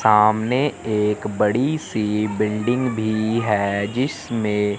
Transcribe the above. सामने एक बड़ी सी बिल्डिंग भी है जिसमें--